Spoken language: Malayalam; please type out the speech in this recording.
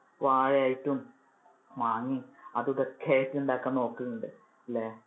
വാഴ ആയിട്ടും മാങ്ങേ അതുമിതും ഒക്കെ ആയിട്ട് ഉണ്ടാക്കാൻ നോക്കാറുണ്ട്, അല്ലെ